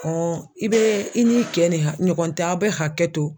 i bɛ i n'i kɛ ni ɲɔgɔn tɛ aw bɛ hakɛ to.